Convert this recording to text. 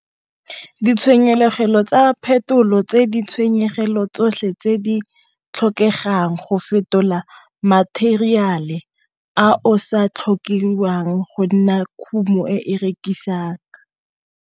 Ditshenyegelo tsa phetolo tse di tshenyegelo tsotlhe tse di tlhokegang go fetola matheriale a o sa tlhokiwang go nna khumo e rekisang.